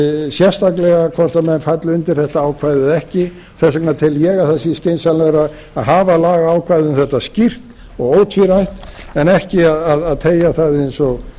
sérstaklega hvort menn falla undir þetta ákvæði eða ekki þess vegna tel ég að það sé skynsamlegra að hafa lagaákvæði um þetta skýrt og ótvírætt en ekki að teygja það eins og gert hefur